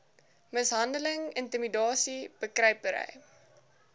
mishandeling intimidasie bekruipery